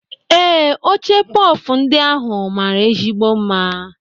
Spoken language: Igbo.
Ee, oche pọf ndị ahụ mara ezigbo mma.